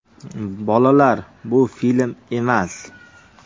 Bolalar – bu film emas.